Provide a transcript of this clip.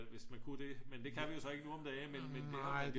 hvis man ku det men det kan vi jo så ikke nu om dage men